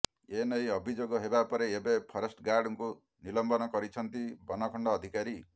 ଏନେଇ ଅଭିଯୋଗ ହେବା ପରେ ଏବେ ଫରେଷ୍ଟ ଗାର୍ଡଙ୍କୁ ନିଲମ୍ବନ କରିଛନ୍ତି ବନଖଣ୍ଡ ଅଧିକାରୀ